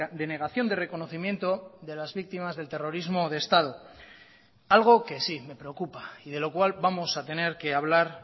de negación de reconocimiento de las víctimas del terrorismo de estado algo que sí me preocupa y de lo cual vamos a tener que hablar